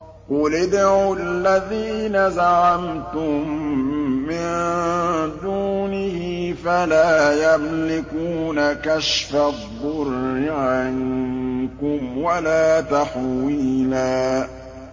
قُلِ ادْعُوا الَّذِينَ زَعَمْتُم مِّن دُونِهِ فَلَا يَمْلِكُونَ كَشْفَ الضُّرِّ عَنكُمْ وَلَا تَحْوِيلًا